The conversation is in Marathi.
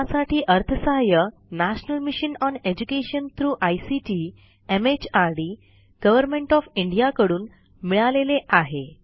यासाठी अर्थसहाय्य national mission on education through ICT MHRD government of India कडून मिळालेले आहे